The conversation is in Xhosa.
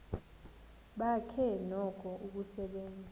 bakhe noko usasebenza